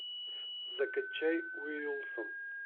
закачай уилсон